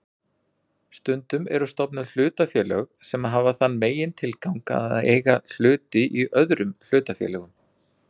Stundum eru stofnuð hlutafélög sem hafa þann megintilgang að eiga hluti í öðrum hlutafélögum.